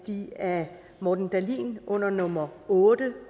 at de af morten dahlin under nummer otte